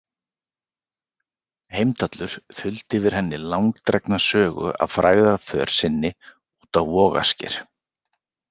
Heimdallur þuldi yfir henni langdregna sögu af frægðarför sinni út á Vogasker.